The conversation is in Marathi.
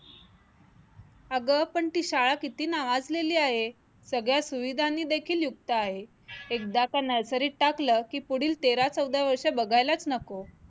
अगं पण ती शाळा किती नावाजलेली आहे सगळ्या सुविधांनी देखील युक्त आहे एकदा का Nursery त टाकलं कि पुढील तेरा चौदा वर्ष बघायलाच नको